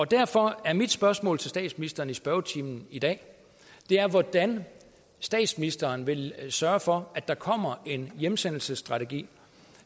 derfor er mit spørgsmål til statsministeren her i spørgetimen i dag hvordan statsministeren vil sørge for at der kommer en hjemsendelsesstrategi